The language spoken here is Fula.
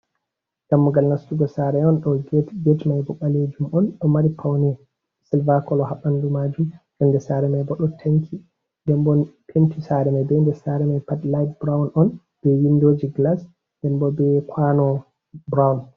Dammugal nastugo saare on, ɗo get, get mai bo ɗo mari paune silva kolo ha ɓandu maajum. Kombi sare mai bo ɗon penti. Nden bo penti sare mai pat lait brawn on be windooji gilas, nden bo be kwaano brawn.